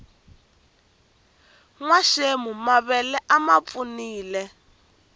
nwaxemu mavele a mapfunile